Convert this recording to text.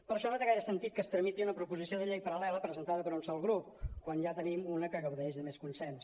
per això no té gaire sentit que es tramiti una proposició de llei paral·lela presen·tada per un sol grup quan ja en tenim una que gaudeix de més consens